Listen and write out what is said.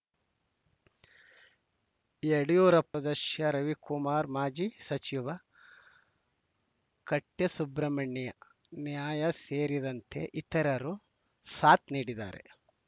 ಯಡಿಯೂರಪ್ಪ ದಶಿಯ ರವಿಕುಮಾರ್ ಮಾಜಿ ಸಚಿವ ಕಟ್ಯ ಸುಬ್ರಹ್ಮಣ್ಯ ನಯ್ಯಾ ಸೇರಿದಂತೆ ಇತರರು ಸಾಥ್‌ ನೀಡಲಿದ್ದಾರೆ